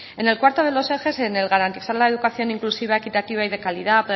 en el cuarto de los ejes garantizar la educación inclusiva equitativa y de calidad